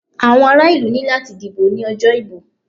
Àwọn ara ìlú ní láti dìbò ní ọjọ́ ìbò.